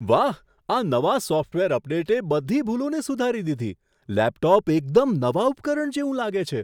વાહ, આ નવા સોફ્ટવેર અપડેટે બધી ભૂલોને સુધારી દીધી. લેપટોપ એકદમ નવા ઉપકરણ જેવું લાગે છે!